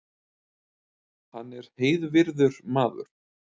Hann er heiðvirður maður